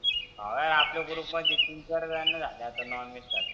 हाव यार आपल्या गृप मध्ये तीन चार वेळानी झाले नॉनव्हेज खाते.